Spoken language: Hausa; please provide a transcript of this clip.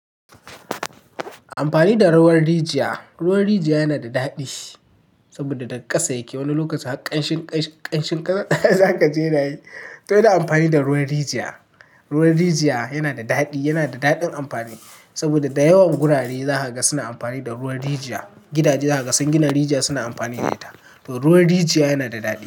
Amfani da ruwan rijiya, ruwan rijiya yana da daɗi saboda daga ƙasa yake. Wani lokacin har kanshin ƙasa zaka ji nayi, to ina amfani da ruwan rijiya. Ruwan rijiya yana da daɗi, yana da daɗin amfani saboda da yawan gurare za ka ga suna amfani da ruwan rijiya. Gidaje za ka gan suna gina rijiya suna amfani da ita. To ruwan rijiya yana da daɗi.